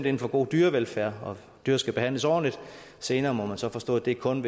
ind for god dyrevelfærd og at dyr skal behandles ordentligt senere må man så forstå at det kun